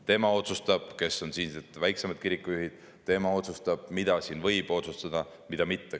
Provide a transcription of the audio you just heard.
Tema otsustab, kes on siinsed väiksemad kirikujuhid, tema otsustab, mida siin võib otsustada ja mida mitte.